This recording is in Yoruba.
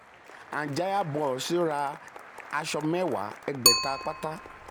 anjaya bros ra aṣọ mẹ́wàá ẹgbẹ̀ta pátá.